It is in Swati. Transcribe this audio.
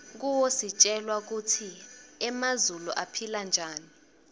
kuwo sitjelwa kutsi emazulu aphila njani